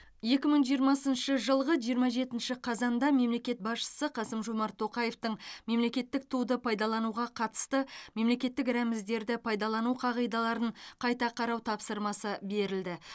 екі мың жиырмасыншы жылғы жиырма жетінші қазанда мемлекет басшысы қасым жомарт тоқаевтың мемлекеттік туды пайдалануға қатысты мемлекеттік рәміздерді пайдалану қағидаларын қайта қарау тапсырмасы берілді